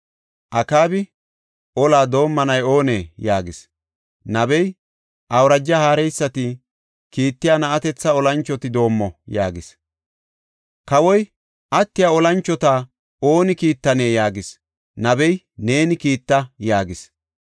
Akaabi, “Olaa doomanay oonee?” yaagis. Nabey, “Awuraja haareysati kiittiya na7atetha olanchoti doomo” yaagis. Kawoy, “Attiya olanchota ooni kiittanee?” yaagis. Nabey, “Neeni kiitta” yaagis.